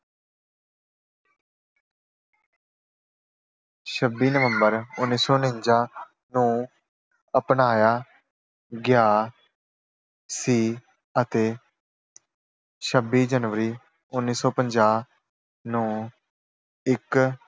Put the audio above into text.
ਛੱਬੀ ਨਵੰਬਰ ਉਨੀ ਸੌ ਉਨੰਜਾ ਨੂੰ ਅਪਣਾਇਆ ਗਿਆ ਸੀ ਅਤੇ ਛੱਬੀ ਜਨਵਰੀ ਉਨੀ ਸੌ ਪੰਜਾਹ ਨੂੰ ਇੱਕ